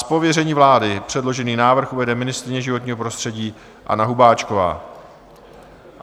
Z pověření vlády předložený návrh uvede ministryně životního prostředí Anna Hubáčková.